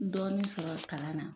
Dɔɔni sɔrɔ kalan na